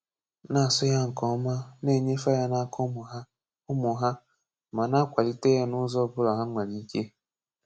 Na-asụ ya nke ọma, na-enyefe ya n'aka ụmụ ha, ụmụ ha, ma na-akwalite ya n'ụzọ ọ bụla ha nwere ike.